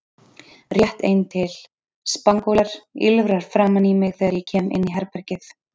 Rétt ein til: Spangólar, ýlfrar framan í mig þegar ég kem inn í herbergið